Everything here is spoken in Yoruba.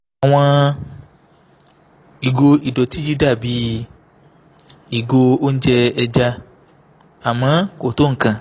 àwọn ìgò ìdọ̀tí yìí dà bí "ìgò oúnjẹ ẹja" àmọ́ kò tó nǹkan